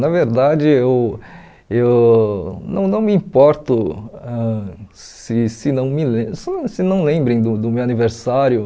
Na verdade, eu eu não não me importo ãh se se não me lem se não se não lembrem do do meu aniversário.